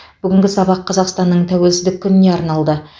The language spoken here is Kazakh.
бүгінгі сабақ қазақстанның тәуелсіздік күніне арналды